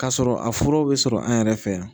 K'a sɔrɔ a furaw bɛ sɔrɔ an yɛrɛ fɛ yan